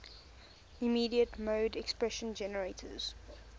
immediate mode expression generates